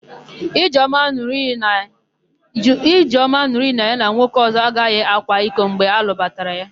Ijeọma n̄ụrụ iyi na ya na nwoke ọ̀zọ́ agaghị akwa iko mgbe a lụbatara ya.